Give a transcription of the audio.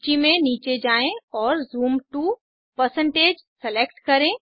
सूची में नीचे जाएँ और ज़ूम to160 सेलेक्ट करें